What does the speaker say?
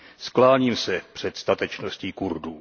Skláním se před statečností Kurdů.